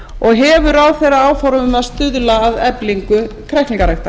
annars hefur ráðherra áform um að stuðla að eflingu kræklingaræktar